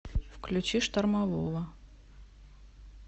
включи штормового